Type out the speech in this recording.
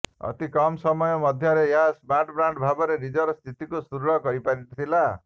ଅତି କମ୍ ସମୟ ମଧ୍ୟରେ ଏହା ସ୍ମାର୍ଟବ୍ରାଣ୍ଡ୍ ଭାବରେ ନିଜର ସ୍ଥିତିକୁ ସୁଦୃଢ଼ କରିପାରିଥିଲା